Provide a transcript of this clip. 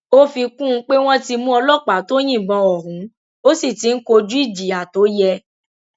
ó fi kún un pé wọn ti mú ọlọpàá tó yìnbọn ọhún ó sì ti ń kojú ìjìyà tó yẹ